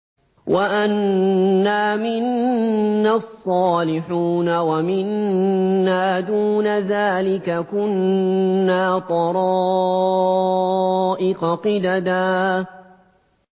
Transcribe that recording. وَأَنَّا مِنَّا الصَّالِحُونَ وَمِنَّا دُونَ ذَٰلِكَ ۖ كُنَّا طَرَائِقَ قِدَدًا